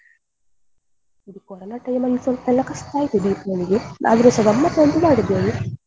ಇದು corona time ಅಲ್ಲಿ ಸ್ವಲ್ಪ ಎಲ್ಲ ಕಸ್ಟ ಆಯ್ತು Deepavali ಗೆ ಆದ್ರೂಸ ಗಮ್ಮತ್ ಅಂತೂ ಮಾಡಿದ್ದೇವೆ.